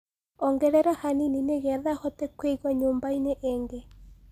ongerera hanĩnĩ nĩgetha hote kuĩgwa nyumbaini ingi